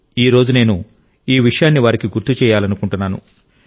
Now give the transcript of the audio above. ఈ రోజు నేను ఈ విషయాన్ని వారికి గుర్తు చేయాలనుకుంటున్నాను